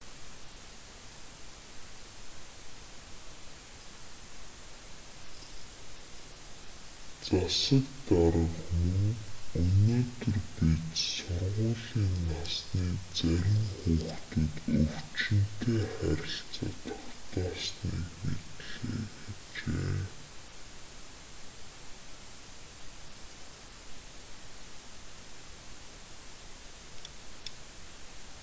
засаг дарга мөн өнөөдөр бид сургуулийн насны зарим хүүхдүүд өвчтөнтэй харилцаа тогтоосныг мэдлээ гэжээ